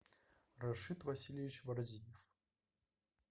рашид васильевич варзиев